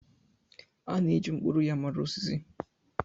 A na-eji mkpụrụ ya mara osisi.